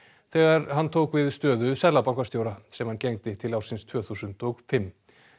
þegar hann tók við stöðu seðlabankastjóra sem hann gegndi til ársins tvö þúsund og fimm